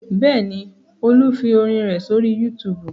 Bẹ́ẹ̀ ni, Olú fi orin rẹ̀ sórí YouTube.